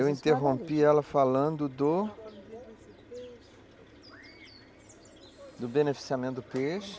Eu interrompi ela falando do... do beneficiamento do peixe.